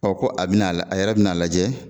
Ɔ ko a bɛna a yɛrɛ bɛna a lajɛ